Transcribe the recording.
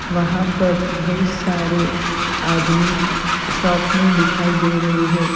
वहां पर बहुत सारे आदमी शॉप में दिखाई दे रहे हैं।